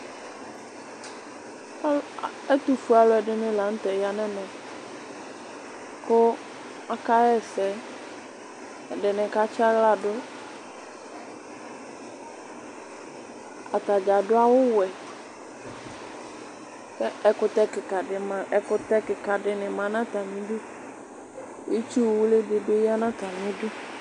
ɛtufue alò ɛdini lantɛ ya n'ɛmɛ kò aka ɣa ɛsɛ ɛdini ka tsi ala du atadza adu awu wɛ k'ɛkutɛ keka di ma ɛkutɛ keka di ni ma n'atami du itsu wli di bi ya n'atami du.